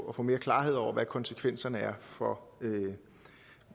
og få mere klarhed over hvad konsekvenserne er for